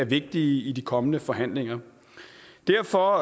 vigtige i de kommende forhandlinger derfor